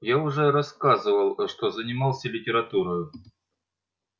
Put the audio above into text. я уже сказывал что я занимался литературою